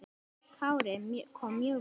Kári kom mjög vel inn.